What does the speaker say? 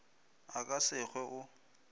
a ka se hwe o